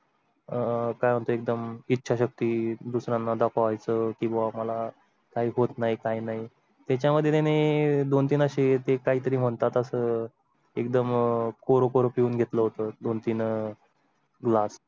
अह म्हणजे एकदम इच्छाशक्ती दुसर् यांना दाखवायचं किंवा मला काही होत नाही काही नाही. त्याच्या मध्ये त्याने दोन तीन ते काहीतरी म्हणतात असं एकदम कोर कोर घेतलं होतं दोन तीन glass